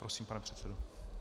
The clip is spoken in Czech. Prosím, pane předsedo.